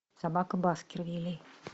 собака баскервилей